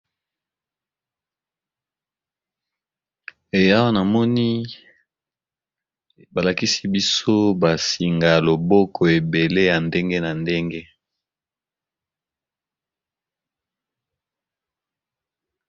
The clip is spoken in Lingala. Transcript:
Eawa na moni balakisi biso ba singa ya loboko ebele ya ndenge na ndenge.